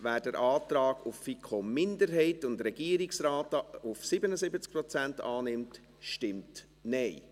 Wer den Antrag der FiKo-Minderheit und des Regierungsrates auf 77 Prozent annimmt, stimmt Nein.